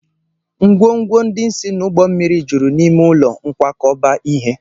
ngwongwo ndị si n'ụgbọ mmiri juru n'ime ụlọ nkwakọba ihe